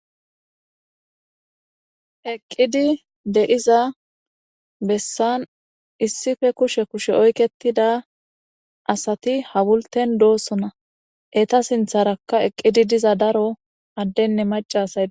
Eqizi dea besan issippe kushe kushe oyiketida asati hawuliten dosona eta sintaraka eqizi diro adden ne macca asay deosona.